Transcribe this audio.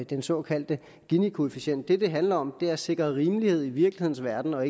den såkaldte ginikoefficient det det handler om er at sikre rimelighed i virkelighedens verden og